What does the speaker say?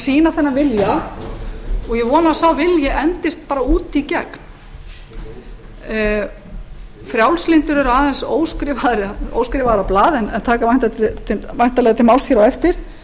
sýna þennan vilja og ég vona að sá vilji endist út í gegn frjálslyndir eru aðeins óskrifaðra blað en taka væntanlega til máls á eftir